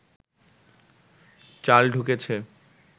চাল ঢুকেছে